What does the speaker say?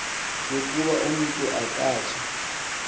yokoba umntu akatsha